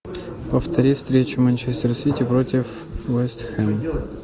повтори встречу манчестер сити против вест хэм